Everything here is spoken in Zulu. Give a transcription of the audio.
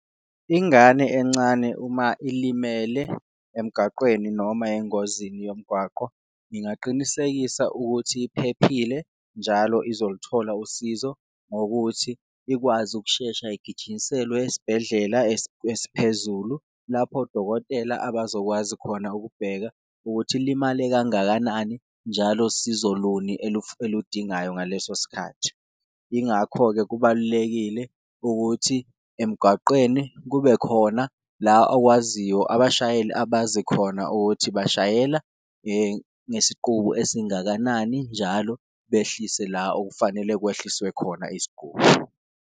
Ingane encane uma ilimele emgaqweni noma engozini yomgwaqo ngingaqinisekisa ukuthi iphephile, njalo izoluthola usizo ngokuthi ikwazi ukushesha igijinyiselwe esibhedlela esiphezulu lapho odokotela abazokwazi khona ukubheka ukuthi ilimale kangakanani. Njalo sizo luni eludingayo ngaleso sikhathi, ingakho-ke kubalulekile ukuthi emgwaqeni kube khona la owaziyo, abashayeli abazi khona ukuthi bashayela ngesiqubu esingakanani, njalo behlise la okufanele kwehliswe khona isguli.